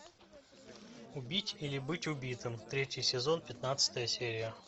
убить или быть убитым третий сезон пятнадцатая серия